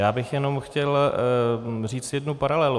Já bych jenom chtěl říct jednu paralelu.